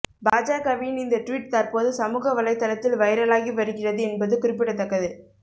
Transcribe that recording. பாஜகவின் இந்த டுவிட் தற்போது சமூக வலைதளத்தில் வைரலாகி வருகிறது என்பது குறிப்பிடத்தக்கது